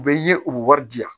U bɛ ye u bɛ wari di yan